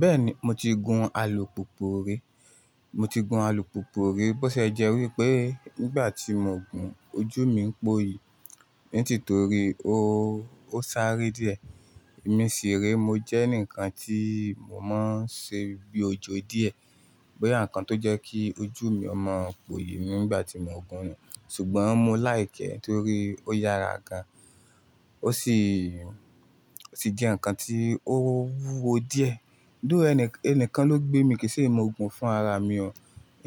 Bẹ́ẹ̀ni, mo ti gun alùpùpù rí. Mo ti gun alùpùpù rí, bó ṣe jẹ́ wípé nígbà tí mo gun, ojú mi ń pòyì. Nítorí ó, ó sáré díẹ̀. Ẹ̀mí sí rí, mo jẹ́ ǹkan tí mo máa ń ṣe bí ojó díẹ̀. Bí ǹkan tó jẹ́ kí ojú mi ó mọ̀ póyì nígbà tí mo gun, ṣùgbọ́n mo like torí ó yára gan. Ó sì, ó sì jẹ́ ǹkan tí ó wúwo díẹ̀. Dó ẹni, ẹni kan ló gbé mi, kì í ṣe mo gun fún ara mi o.